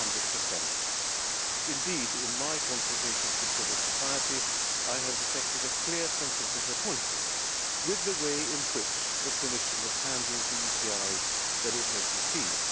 is 100. Indeed, in my consultations with civil society I have detected a clear sense of disappointment with the way in which the Commission has handled the ECIs that it has received.